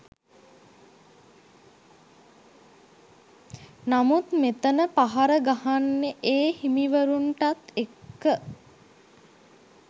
නමුත් මෙතන පහර ගහන්නෙ ඒ හිමිවරුන්ටත් එක්ක.